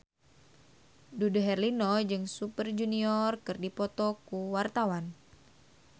Dude Herlino jeung Super Junior keur dipoto ku wartawan